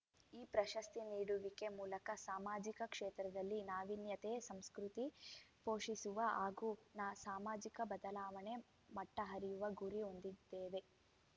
ಈ ಪ್ರಶಸ್ತಿ ನೀಡುವಿಕೆ ಮೂಲಕ ಸಾಮಾಜಿಕ ಕ್ಷೇತ್ರದಲ್ಲಿ ನಾವೀನ್ಯತೆಯ ಸಂಸ್ಕೃತಿ ಪೋಷಿಸುವ ಹಾಗೂ ನ ಸಾಮಾಜಿಕ ಬದಲಾವಣೆ ಮಟ್ಟ ಅರಿಯುವ ಗುರಿ ಹೊಂದಿದ್ದೇವೆ